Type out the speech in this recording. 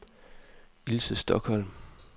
Ilse Stokholm